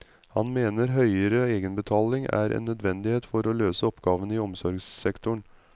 Han mener høyere egenbetaling er en nødvendighet for å løse oppgavene i omsorgssektoren.